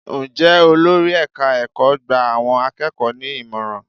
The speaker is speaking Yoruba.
Ǹjẹ́ olórí ẹ̀ka ẹ̀kọ́ gba àwọn akẹ́kọ̀ọ́ ní ìmọ̀ràn?